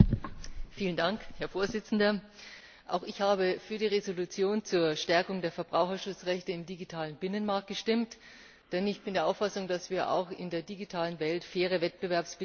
Herr Präsident! Auch ich habe für die Entschließung zur Stärkung der Verbraucherschutzrechte im digitalen Binnenmarkt gestimmt, denn ich bin der Auffassung, dass wir auch in der digitalen Welt faire Wettbewerbsbedingungen brauchen.